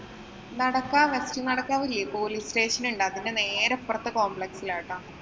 നടക്കാവ് നടക്കാവില്യെ police station ഉണ്ട്. അതിന്‍റെ നേരെ ഇപ്പറത്തെ complex ലാ കേട്ടോ.